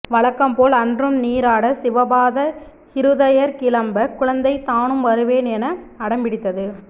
வழக்கம்போல் அன்றும் நீராட சிவபாத ஹிருதயர் கிளம்ப குழந்தை தானும் வருவேன் என அடம்பிடித்தது